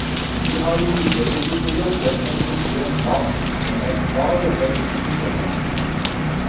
Vi har imidlertid ikke jobbet med en konkret plan, men er klar over underdekningen.